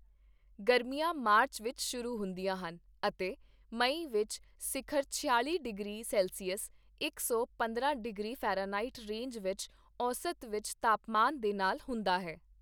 ਗਰਮੀਆਂ ਮਾਰਚ ਵਿੱਚ ਸ਼ਰੂ ਹੁੰਦੀਆਂ ਹਨ, ਅਤੇ ਮਈ ਵਿੱਚ ਸਿਖਰ ਛਿਆਲ਼ੀ ਡਿਗਰੀ ਸੈਲਸੀਅਸ ਇਕ ਸੌ ਪੰਦਰਾਂ ਡਿਗਰੀ ਫਾਰਨਹਾਈਟ ਰੇਂਜ ਵਿੱਚ ਔਸਤ ਉੱਚ ਤਾਪਮਾਨ ਦੇ ਨਾਲ ਹੁੰਦਾ ਹੈ।